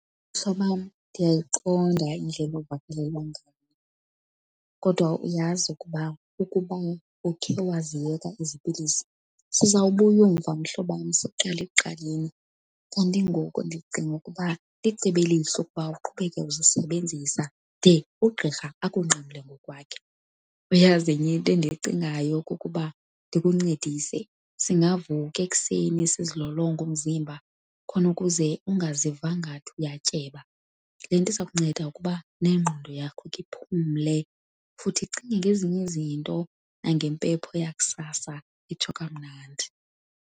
Mhlobam, ndiyayiqonda indlela ovakalelwa ngayo kodwa uyazi ukuba ukuba ukhe waziyeka ezi pilisi sizawubuya umva mhlobam siqale ekuqaleni. Kanti ngoku ndicinga ukuba licebo elihle ukuba uqhubeke uzisebenzisa de ugqirha akunqamle ngokwakhe. Uyazi enye into endiyicingayo kukuba ndikuncedise, singavuka ekuseni sizilolonge umzimba khona ukuze ungaziva ngathi uyatyeba. Le nto iza kunceda ukuba nengqondo yakho ikhe iphumle futhi icinge ngezinye izinto nangempepho yakusasa itsho kamnandi.